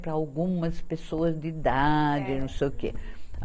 Para algumas pessoas de idade, não sei o quê.